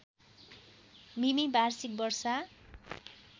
मिमि वार्षिक वर्षा